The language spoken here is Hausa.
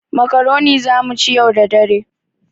Makaroni za mu ci yau da dare.